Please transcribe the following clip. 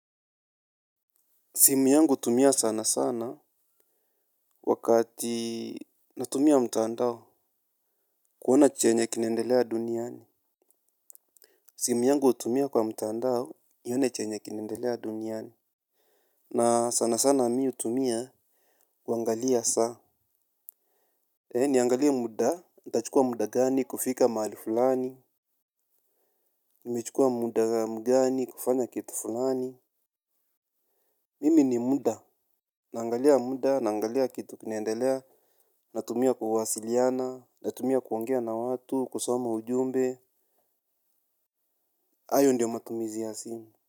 Simu yangu utumia sana sana wakati natumia mtandao kuona chenye kinendelea duniani. Simu yangu utumia kwa mtandao nione chenye kinaendelea duniani. Na sana sana mi utumia kuangalia saa. E niangalie muda, itachukua muda gani, kufika mahali fulani. Nimechukua muda mgani, kufanya kitu fulani. Mimi ni muda. Naangalia muda, naangalia kitu kinaendelea. Natumia kuwasiliana, natumia kuongea na watu, kusoma ujumbe, ayo ndio matumizi ya simu.